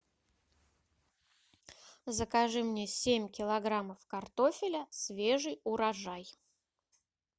закажи мне семь килограммов картофеля свежий урожай